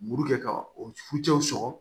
Muru kɛ ka o fucɛw sɔrɔ